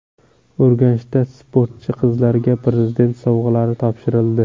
Urganchda sportchi qizlarga Prezident sovg‘alari topshirildi.